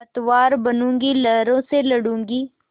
पतवार बनूँगी लहरों से लडूँगी